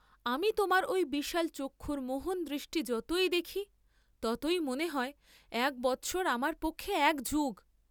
আমি তোমার ঐ বিশাল চক্ষুর মোহন দৃষ্টি যতই দেখি ততই মনে হয় এক বৎসর আমার পক্ষে এক যুগ।